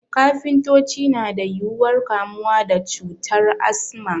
Kafintoci na da yuwuwar kamuwa da cutar Asma